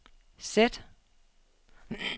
sæt